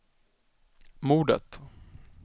mordet